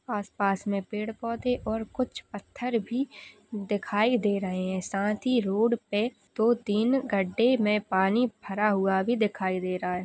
आसपास में पेड़- पौधे और कुछ पत्थर भी दिखाई दे रहे है साथ ही रोड पे दो- तीन गड्ढे में पानी भरा हुआ भी दिखाई दे रहा हैं।